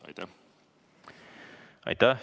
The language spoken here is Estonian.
Aitäh!